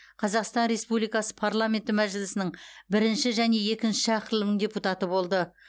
қазақстан республикасы парламенті мәжілісінің бірінші және екінші шақырылым депутаты болды